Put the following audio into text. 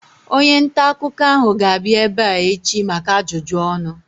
Onye ntaakụkọ ahu ga-abịa ebea echi maka ajụjụ ọnụ